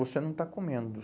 Você não está comendo.